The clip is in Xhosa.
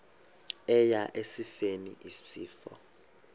eya esifeni isifo